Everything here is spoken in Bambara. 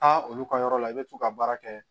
Aa olu ka yɔrɔ la i bɛ t'u ka baara kɛ